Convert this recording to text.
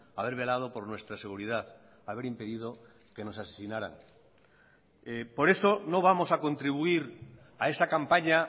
haber velado por nuestra seguridad haber impedido que nos asesinaran por eso no vamos a contribuir a esa campaña